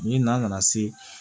Ni na nana se